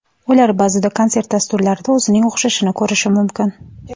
Ular ba’zida konsert-dasturlarida o‘zining o‘xshashini ko‘rish mumkin.